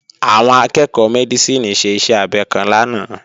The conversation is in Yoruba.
Àwọn akẹ́ẹ̀kọ́ Mẹ́dísìnì ṣe iṣẹ́ abẹ kan lánàá